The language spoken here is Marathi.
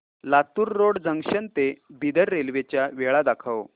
लातूर रोड जंक्शन ते बिदर रेल्वे च्या वेळा दाखव